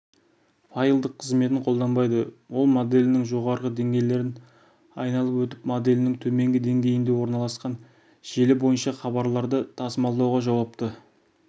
файлдық қызметін қолданбайды ол моделінің жоғарғы деңгейлерін айналып өтіп моделінің төменгі деңгейінде орналасқан желі бойынша хабарларды тасымалдауға жауапты